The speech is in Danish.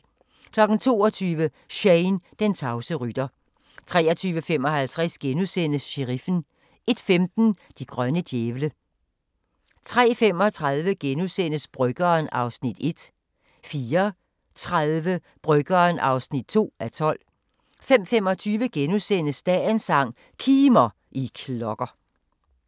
22:00: Shane, den tavse rytter 23:55: Sheriffen * 01:15: De grønne djævle 03:35: Bryggeren (1:12)* 04:30: Bryggeren (2:12) 05:25: Dagens sang: Kimer, I klokker *